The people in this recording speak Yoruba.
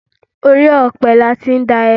Orí ọ̀pẹ ni a ti ń dá ẹmu